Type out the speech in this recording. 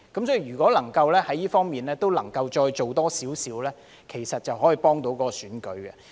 所以，如果能夠在這方面再多做一些，其實便能幫助選舉。